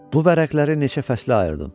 Bu vərəqləri neçə fəslə ayırdım.